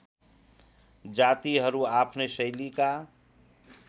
जातिहरू आफ्नै शैलीका